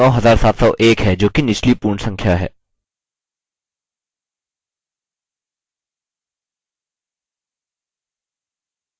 उत्तर अब 9701 है जोकि निचली पूर्ण संख्या है